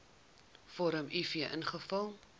vorm uf invul